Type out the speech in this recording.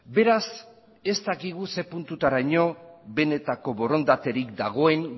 beraz ez dakigu zer puntutaraino benetako borondaterik dagoen